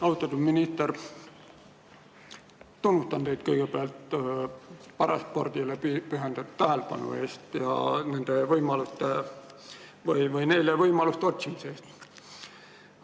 Austatud minister, tunnustan teid kõigepealt paraspordile pühendatud tähelepanu eest ja neile võimaluste otsimise eest.